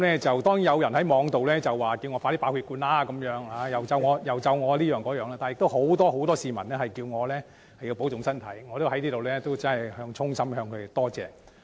雖然有人在互聯網表示希望我早日爆血管，又用其他方式詛咒我，但也有很多市民叮囑我保重身體，我要在此衷心感謝他們。